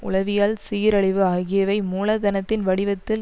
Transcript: உளவியல் சீரழிவு ஆகியவை மூலதனத்தின் வடிவத்தில்